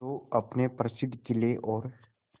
जो अपने प्रसिद्ध किले और